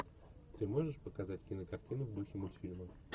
ты можешь показать кинокартину в духе мультфильма